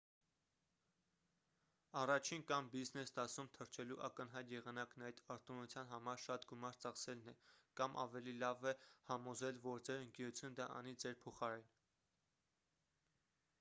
առաջին կամ բիզնես դասում թռչելու ակնհայտ եղանակն այդ արտոնության համար շատ գումար ծախսելն է կամ ավելի լավ է համոզել որ ձեր ընկերությունը դա անի ձեր փոխարեն։